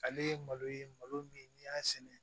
Ale ye malo ye malo min n'i y'a sɛnɛ